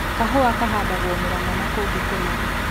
Kahũa kahandagwo Mũrangʻa na kũngĩ kũna